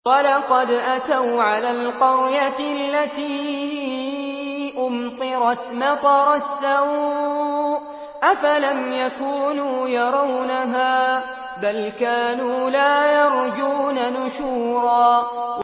وَلَقَدْ أَتَوْا عَلَى الْقَرْيَةِ الَّتِي أُمْطِرَتْ مَطَرَ السَّوْءِ ۚ أَفَلَمْ يَكُونُوا يَرَوْنَهَا ۚ بَلْ كَانُوا لَا يَرْجُونَ نُشُورًا